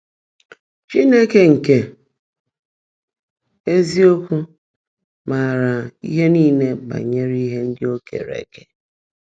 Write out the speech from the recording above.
Chínekè nkè ézíokwú máárá íhe níle bányèré íhe ndị́ ó keèré ékè